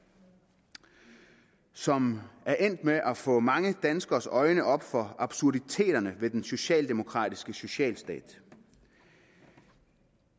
som er endt med at få mange danskeres øjne op for absurditeterne ved den socialdemokratiske socialstat